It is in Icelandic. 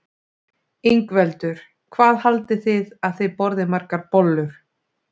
Ingveldur: Hvað haldið þið að þið borðið margar bollur?